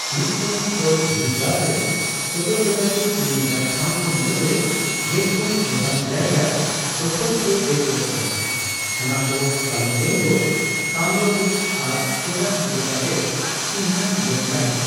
ᱢᱤᱫᱴᱟᱝ ᱪᱚᱞ ᱫᱷᱤᱨᱤᱜᱟᱨ ᱨᱮ ᱥᱚᱫᱚᱨ ᱞᱮᱱᱟ ᱡᱮ ᱩᱱᱤ ᱮᱴᱟᱜ ᱴᱷᱟᱣ ᱠᱚ ᱢᱩᱫᱽ ᱨᱮ ᱜᱮᱞᱯᱩᱱ ᱜᱚᱴᱟᱝ ᱡᱟᱭᱜᱟᱭ ᱫᱚᱠᱷᱚᱞ ᱥᱮ ᱨᱮᱡ ᱞᱮᱫ ᱠᱚᱣᱟ ᱚᱱᱟᱠᱚ ᱯᱟᱞᱮᱢᱵᱮᱜᱝ, ᱛᱟᱢᱨᱚᱞᱤᱝ ᱟᱨ ᱠᱮᱫᱟᱦ ᱞᱮᱠᱟᱛᱮ ᱪᱤᱱᱦᱟᱹ ᱞᱮᱱ ᱛᱟᱦᱮᱸ ᱾